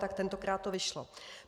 Tak tentokrát to vyšlo.